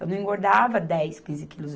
Eu não engordava dez, quinze quilos.